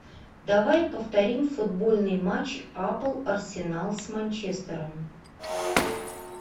давай повторим футбольный матч апл арсенал с манчестером